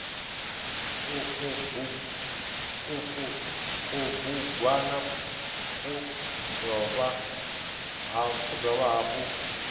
uku kubugwana ku dovha hafhu